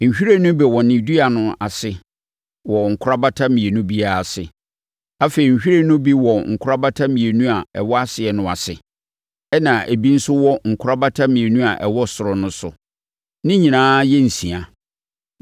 Nhwiren no bi wɔ ne dua no ase wɔ nkorabata mmienu biara ase. Afei, nhwiren no bi wɔ nkorabata mmienu a ɛwɔ aseɛ no ase, ɛnna ebi nso wɔ nkorabata mmienu a ɛwɔ ɔsoro no so. Ne nyinaa yɛ nsia.